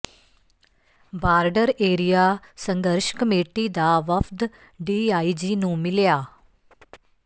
border area ਸੰਘਰਸ਼ committee ਦਾ ਵਫ਼ਦ ਡੀਆਈਜੀ ਨੂੰ ਮਿਲਿਆ